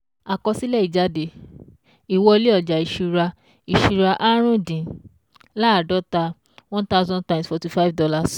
Àkọsílẹ̀ ìjáde, ìwọlé ojà ìṣúra ìṣúra árùndín-láàdọ́ta ne thousand times forty five dollars